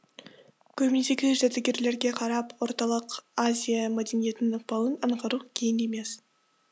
көрмедегі жәдігерлерге қарап орталық азия мәдениетінің ықпалын аңғару қиын емес